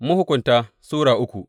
Mahukunta Sura uku